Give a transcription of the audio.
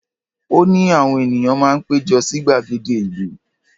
Ó ní àwọn ènìyàn máa ń pé jọ sí gbàgede ìlú.